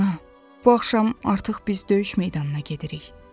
Ana, bu axşam artıq biz döyüş meydanına gedirik.